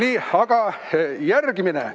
Nii, aga järgmine.